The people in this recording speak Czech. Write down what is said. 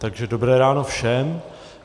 Takže dobré ráno všem.